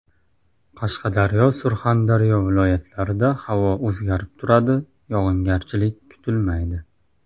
Qashqadaryo, Surxondaryo viloyatlarida havo o‘zgarib turadi, yog‘ingarchilik kutilmaydi.